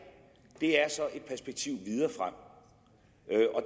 er så et perspektiv